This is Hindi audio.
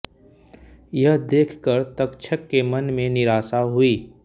यह देखकर तक्षक के मन में निराशा हुई